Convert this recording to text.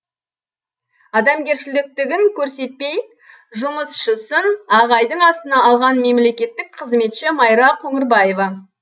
адамгершіліктігін көрсетпей жұмысшысын ағайдың астына алған мемлекеттік қызметші майра қоңырбаева